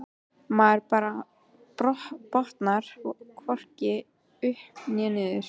Maður bara botnar hvorki upp né niður.